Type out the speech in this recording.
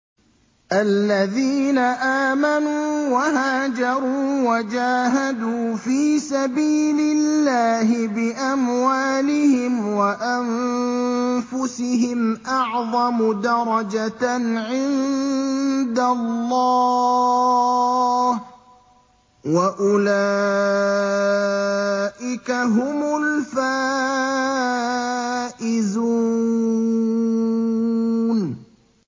الَّذِينَ آمَنُوا وَهَاجَرُوا وَجَاهَدُوا فِي سَبِيلِ اللَّهِ بِأَمْوَالِهِمْ وَأَنفُسِهِمْ أَعْظَمُ دَرَجَةً عِندَ اللَّهِ ۚ وَأُولَٰئِكَ هُمُ الْفَائِزُونَ